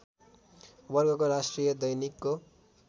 वर्गको राष्ट्रिय दैनिकको